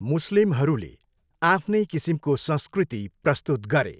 मुस्लिमहरूले आफ्नै किसिमको संंस्कृति प्रस्तुत गरे।